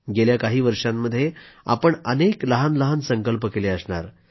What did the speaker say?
गेल्या काही वर्षांमध्ये आपण अनेक लहानलहान संकल्प केले असणार